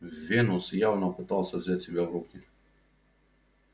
венус явно пытался взять себя в руки